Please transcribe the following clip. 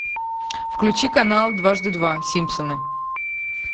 включи канал дважды два симпсоны